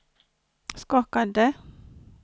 skakade